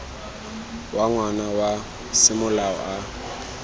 wa ngwana wa semolao a